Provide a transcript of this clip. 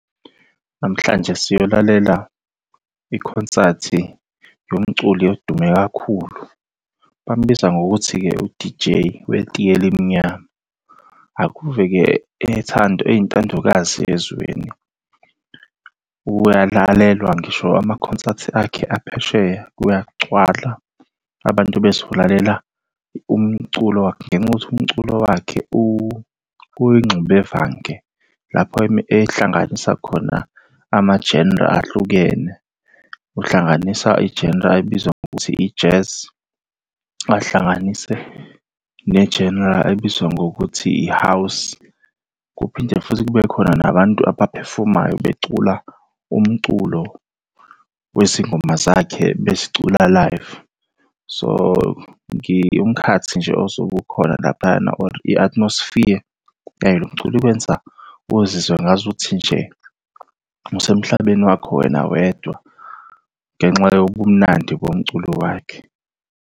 Namhlanje siyolalela ikhonsathi yomculi edume kakhulu, bamubiza ngokuthi-ke u-D_J wetiyela elimnyama. Akuve-ke ethandwa, eyintandokazi ezweni. Uyalalelwa ngisho amakhonsathi akhe aphesheya kuyagcwala, abantu bezolalela umculo wakhe, ngenxa yokuthi umculo wakhe uyingxubevange lapho ehlanganisa khona ama-genre ahlukene, Uhlanganisa i-genre ayibiza ngokuthi i-jazz, ahlanganise ne-genre ayibiza ngokuthi i-house. Kuphinde futhi kube khona nabantu abaphefomayo becula umculo wezingoma zakhe bezicula live. So, umkhathi nje osuke ukhona laphayana or i-athmosphere yayo lo mculo ikwenza uzizwe ngazuthi nje usemhlabeni wakho wena wedwa, ngenxa yobumnandi bomculo wakhe.